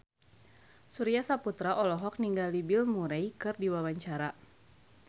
Surya Saputra olohok ningali Bill Murray keur diwawancara